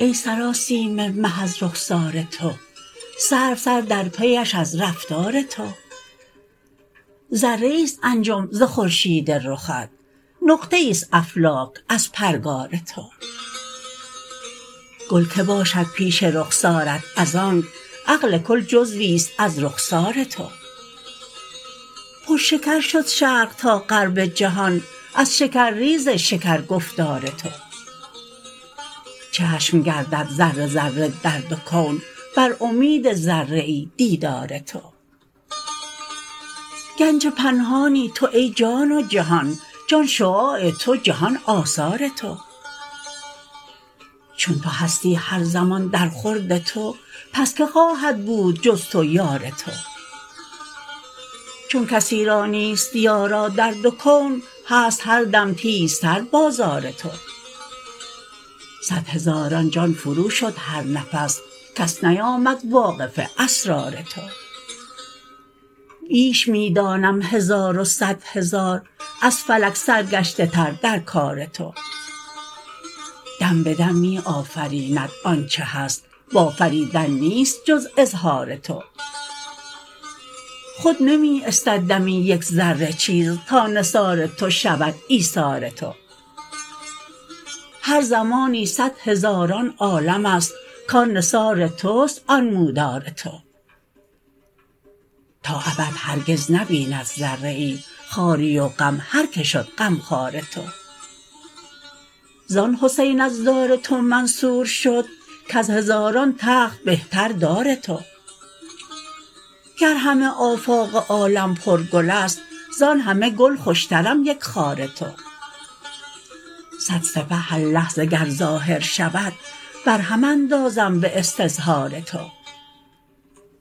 ای سراسیمه مه از رخسار تو سرو سر در پیش از رفتار تو ذره ای است انجم زخورشید رخت نقطه ای است افلاک از پرگار تو گل که باشد پیش رخسارت از آنک عقل کل جزوی است از رخسار تو پر شکر شد شرق تا غرب جهان از شکرریز شکر گفتار تو چشم گردد ذره ذره در دو کون بر امید ذره ای دیدار تو گنج پنهانی تو ای جان و جهان جان شعاع تو جهان آثار تو چون تو هستی هر زمان در خورد تو پس که خواهد بود جز تو یار تو چون کسی را نیست یارا در دو کون هست هر دم تیزتر بازار تو صد هزاران جان فروشد هر نفس کس نیامد واقف اسرار تو بیش می دانم هزار و صد هزار از فلک سرگشته تر در کار تو دم به دم می آفریند آنچه هست و آفریدن نیست جز اظهار تو خود نمی استد دمی یک ذره چیز تا نثار تو شود ایثار تو هر زمانی صد هزاران عالم است کان نثار توست انمودار تو تا ابد هرگز نبیند ذره ای خواری و غم هر که شد غمخوار تو زان حسین از دار تو منصور شد کز هزاران تخت بهتر دار تو گر همه آفاق عالم پر گل است زان همه گل خوشترم یک خار تو صد سپه هرلحظه گر ظاهر شود برهم اندازم به استظهار تو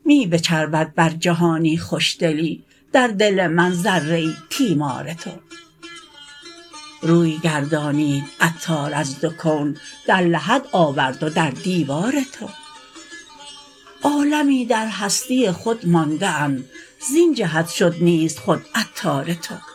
می بچربد بر جهانی خوش دلی در دل من ذره ای تیمار تو روی گردانید عطار از دو کون در لحد آورد و در دیوار تو عالمی در هستی خود مانده اند زین جهت شد نیست خود عطار تو